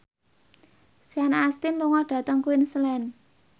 Sean Astin lunga dhateng Queensland